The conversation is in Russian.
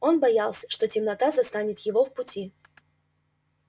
он боялся что темнота застанет его в пути